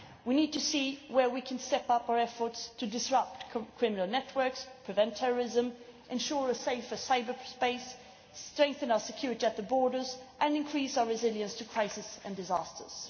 We need to see where we can step up our efforts to disrupt criminal networks, prevent terrorism, ensure a safer cyberspace, strengthen our security at the borders and increase our resilience to crises and disasters.